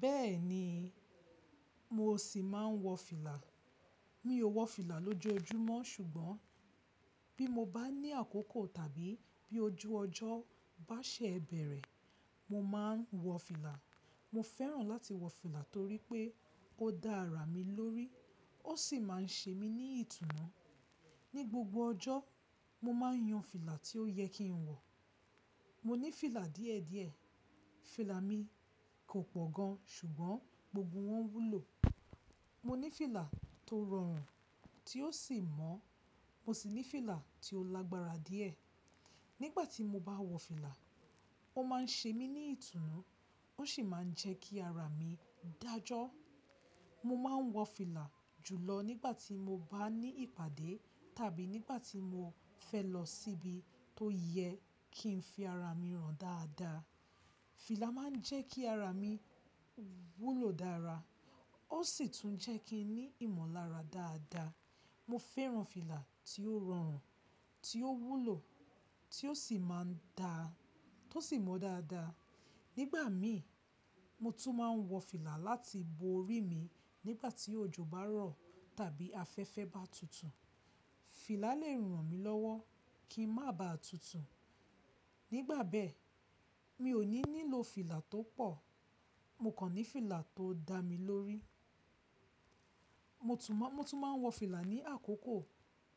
Bẹ́ẹ̀ni, mo ṣì máa ń wọ fìlà. Mi ò wọ fìlà lójoojúmọ́ ṣùgbọ́n bí mo bá ní àkókò tàbí bí ojú ọjọ́ bá ṣe bẹ̀rẹ̀, mo máa ń wọ fìlà. Mo fẹ́ràn láti wọ fìlà torí pé ó dá ara mi lórí, ó sì máa ń ṣe mí ní ìtùnú. Ni gbogbo ọjọ́, mo máa ń yan fìlà tí ó yẹ kí n wọ. Mo ní fìlà díẹ̀díẹ̀, fìlà mi kò pọ̀ gan ṣùgbọ́n gbogbo wọn wúlò. Mo ní fìlà tó rọrùn tí ó sì mọ́, mo sì ní fìlà tí ó lágbára díẹ̀. Nígbà tí mo bá wọ fìlà, ó máa ń ṣe mí ní ìtùnú, ó sì máa ń jẹ́ kí ara mi dájọ́. Mo máa ń wọ fìlà jùlọ nígbà tí mo bá ní ìpàdé tàbí nígbà tí mo fẹ́ lọ síbi tó yẹ kí n fi ara mi hàn dáadáa. Fìlà máa ń jẹ́ kí ara mi wúlò dára, ó sì tún jẹ́ kí n ní ìmọ̀lára dáadáa. Mo fẹ́ràn fìlà tí ó rọrùn, tí ó wúlò tí ó sì máa ń dá, tó sì mọ́ dáadáa. Nígbà mi, mo tún máa ń wọ fìlà láti bo ori mi nígbà tí òjò bá rọ̀ tàbí afẹ́fẹ́ bá tutù. Fìlà lè ràn mí lọ́wọ́ kí n má ba à tutù. Nígbà bẹ́ẹ̀, mi ò ní nílò fìlà tó pọ̀, mo kàn ní fìlà tó dá mi lórí. Mo tún máa, mo tún máa ń wọ fìlà ní àkókò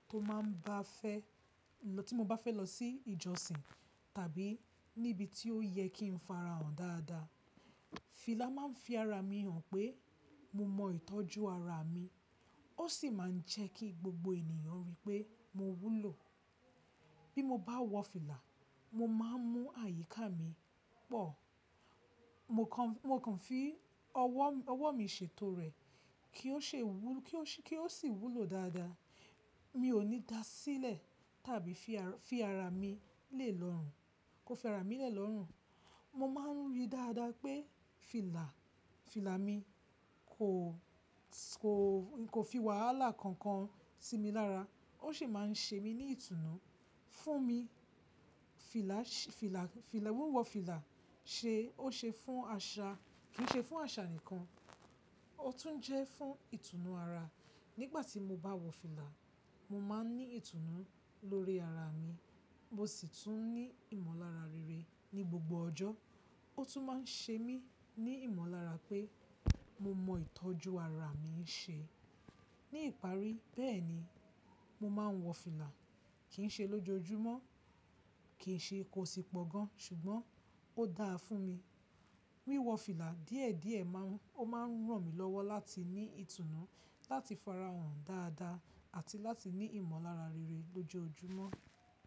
tó máa ń bá fẹ́, tí mo bá fẹ́ lọ sí ìjọsìn tàbí níbi tí ó yẹ kí n farahàn dáadáa. Fìlà máa ń fi ara mi hàn pé mo mọ ìtọ́jú ara mi, ó sì máa ń jẹ́ kí gbogbo ènìyàn rí pé mo wúlò. Bí mo bá wọ fìlà, mo máa ń mú àyíká mi pọ̀. Mo kàn, mo kàn fi ọwọ́, ọwọ́ mi ṣètò rẹ̀ kí ó ṣe wú, kí ó sì, kí ó sì wúlò dáadáa. Mi ò ní da sílẹ̀ tàbí fi ara, fi ara mi lé lọ́rùn, kó fẹ́ra mi lé lọ́rùn. Mo máa ń rí dáadáa pé fìlà, fìlà mi kò, kò, kò fi wàhálà kankan sí mi lára. Ó sì máa ń ṣe mí ní ìtùnú. Fún mi, fìlà, fìlà, fìlà, wíwọ fìlà ṣe, ó ṣe fún àṣà, kì í ṣe fún àṣà nìkan, ó tún jẹ́ fún ìtùnú ara. Nígbà tí mo bá wọ fìlà, mo máa ń ní ìtùnú lórí ara mi, mo sì tún ní ìmọ̀lára rere ní gbogbo ọjọ́. Ó tún máa ń ṣe mí ní ìmọ̀lára pé mo mọ ìtọ́jú ara mi ṣe. Ní ìparí bẹ́ẹ̀ni, mo máa ń wọ fìlà. Kì í ṣe lójoojúmọ́, kì í ṣe kó sì pọ̀ gan ṣùgbọ́n ó dáa fún mi. Wíwọ fìlà díẹ̀díẹ̀ máa ń, ó máa ń ràn mí lọ́wọ́ láti ní ìtùnú, láti farahàn dáadáa àti láti ní ìmọ̀lára rere lójoojúmọ́.